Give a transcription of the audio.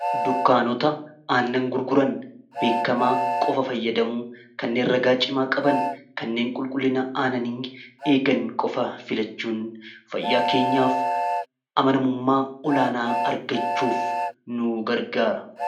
dukkaanota aannan gurguran beekamaa qofa fayyadamuu kanneen ragaa cimaa qaban kanneen qulqullina aananii eegan qofa filachuun fayyaa keenyaaf amanamummaa olaanaa argachuuf nu gargaara